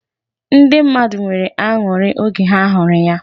Ndi mmadụ nwere ańuri oge ha huru ya.